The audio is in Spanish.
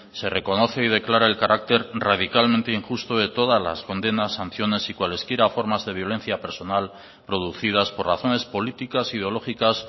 se reconoce y declara el carácter radicalmente injusto de todas las condenas sanciones y cualesquiera formas de violencia personal producidas por razones políticas ideológicas